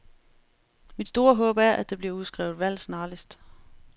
Mit store håb er, at der bliver udskrevet valg snarligst.